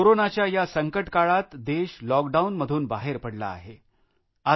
कोरोनाच्या या संकटकाळात देश लॉकडाऊन मधून बाहरे पडला आहे